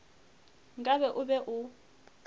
nka be o be o